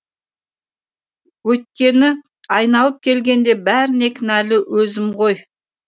өйткені айналып келгенде бәріне кінәлі өзім ғой